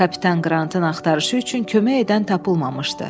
Kapitan Qrantın axtarışı üçün kömək edən tapılmamışdı.